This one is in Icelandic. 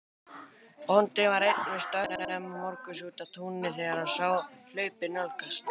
Bóndinn var einn við störf snemma morguns úti á túni þegar hann sá hlaupið nálgast.